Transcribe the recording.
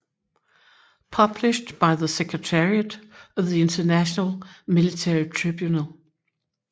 Published by the Secretariat of the International Military Tribunal